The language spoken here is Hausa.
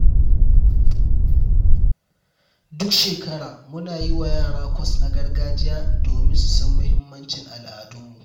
Duk shekara, muna yi wa yara kwas na gargajiya domin su san mahimmancin al’adunmu.